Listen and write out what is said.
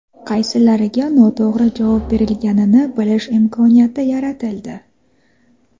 qaysilariga noto‘g‘ri javob berilganini bilish imkoniyati yaratildi.